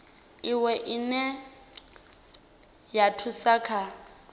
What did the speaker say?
iwe ine ya thusa kha